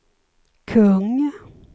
kung